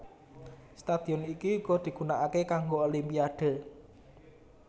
Stadion iki uga digunakake kanggo Olimpiade